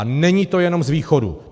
A není to jenom z východu.